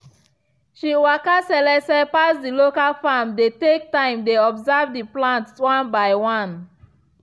she walka selese pass the local farm dey take time dey observe the plant one by one